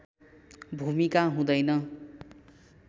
भूमिका हुँदैन